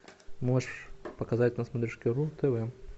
можешь показать на смотрешке ру тв